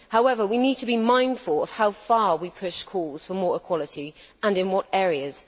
However, we need to be mindful of how far we push calls for more equality and in what areas.